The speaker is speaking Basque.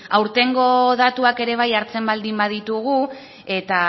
aurtengo datuak ere bai hartzen baldin baditugu eta